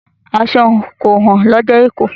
Aṣọ kò hán lọjà èkó.